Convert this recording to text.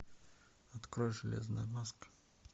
открой железная маска